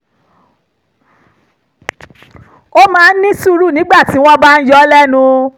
ó máa ń ní sùúrù nígbà tí wọ́n bá ń yọ ọ́ lẹ́nu